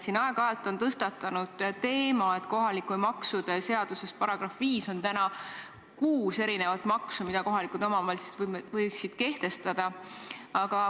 Siin on aeg-ajalt tõstatunud teema, et kohalike maksude seaduses § 5 on kuus erinevat maksu, mida kohalikud omavalitsused võiksid kehtestada.